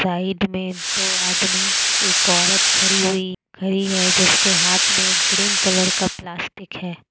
Side में दो आदमी एक औरत खड़ी हुई खड़ी है जिसके हाथ में ग्रीन कलर का प्लास्टिक है।